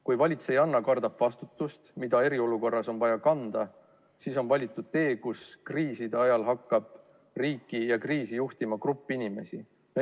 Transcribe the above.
Kuna valitsejanna kardab vastutust, mida eriolukorras on vaja kanda, siis on valitud tee, kus kriisi ajal hakkab riiki ja kriisi juhtima grupp inimesi.